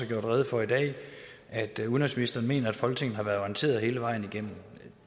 gjort rede for i dag at udenrigsministeren mener at folketinget har været orienteret hele vejen igennem